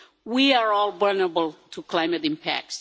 We are all vulnerable to climate impact.